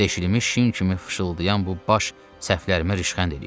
Deşinmiş şin kimi fışıldayan bu baş səhvlərimə rişxənd eləyir.